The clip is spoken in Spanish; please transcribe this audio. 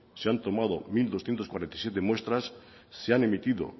se han tomado mil doscientos cuarenta y siete muestras se han emitido